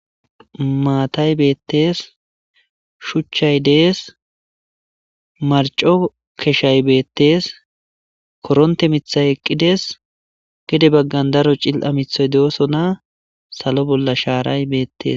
Maatay beettes shuchchay dees marco keshay beettes koronte mithay eqqides gede baggan daro cil7a mithoy deosona salo bolla shaaray beettes